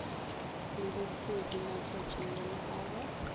le bosodi matšatšinyana a go